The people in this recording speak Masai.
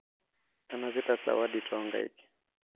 anapita zawadi too nkaik